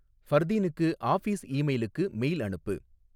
ஃபர்தீனுக்கு office ஈமெயிலுக்கு mail அனுப்பு